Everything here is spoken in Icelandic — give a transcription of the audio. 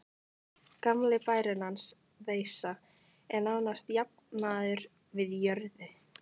Gamli bærinn hans, Veisa, er nánast jafnaður við jörðu.